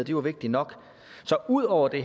jo er vigtigt nok så ud over det